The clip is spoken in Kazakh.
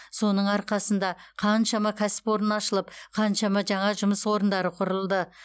соның арқасында қаншама кәсіпорын ашылып қаншама жаңа жұмыс орындары құрылды